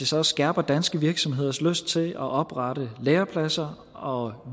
så skærper danske virksomheders lyst til at oprette lærepladser og